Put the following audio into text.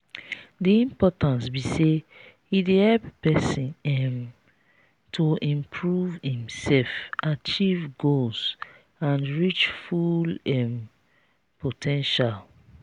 di importance be say e dey help pesin um to improve imself achieve goals and reach full um po ten tial.